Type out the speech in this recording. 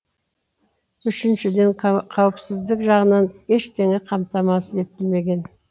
үшіншіден қауіпсіздік жағынан ештеңе қамтамасыз етілмеген